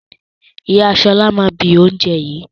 Ìyá Ṣọlá máa bi oúnjẹ yìí.